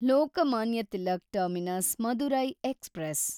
Lokmanya Tilak terminus Madurai express